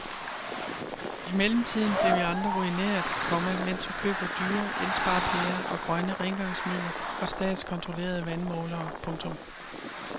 I mellemtiden bliver vi andre ruineret, komma mens vi køber dyre elsparepærer og grønne rengøringsmidler og statskontrollerede vandmålere. punktum